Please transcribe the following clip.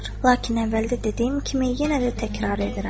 Lakin əvvəldə dediyim kimi, yenə də təkrar edirəm.